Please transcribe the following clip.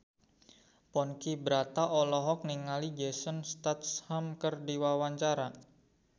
Ponky Brata olohok ningali Jason Statham keur diwawancara